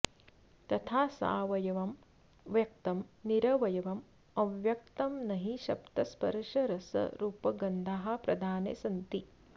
तथा सावयवं व्यक्तं निरवयवमव्यक्तं नहि शब्दस्पर्शरसरूपगन्धाः प्रधाने सन्ति